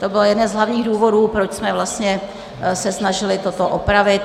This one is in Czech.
To byl jeden z hlavních důvodů, proč jsme se snažili toto opravit.